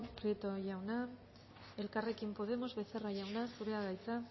prieto jauna elkarrekin podemos becerra jauna zurea da hitza